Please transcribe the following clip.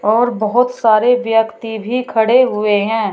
और बहोत सारे व्यक्ति भी खड़े हुए हैं।